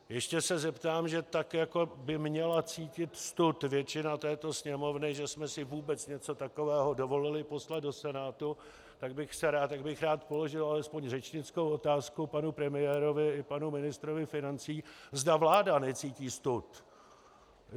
Ještě se zeptám, že tak jako by měla cítit stud většina této Sněmovny, že jsme si vůbec něco takového dovolili poslat do Senátu, tak bych rád položil alespoň řečnickou otázku panu premiérovi i panu ministrovi financí, zda vláda necítí stud.